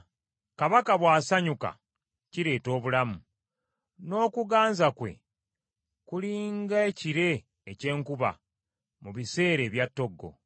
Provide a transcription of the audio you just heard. Kabaka bw’asanyuka kireeta obulamu; n’okuganza kwe, kuli nga ekire eky’enkuba mu biseera ebya ttoggo.